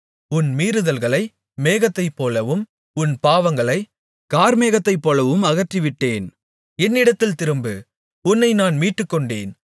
உன் மீறுதல்களை மேகத்தைப்போலவும் உன் பாவங்களைக் கார்மேகத்தைப்போலவும் அகற்றிவிட்டேன் என்னிடத்தில் திரும்பு உன்னை நான் மீட்டுக்கொண்டேன்